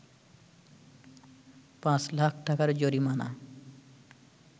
৫ লাখ টাকার জরিমানা